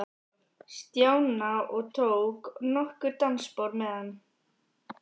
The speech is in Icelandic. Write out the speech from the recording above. Stjána og tók nokkur dansspor með hann.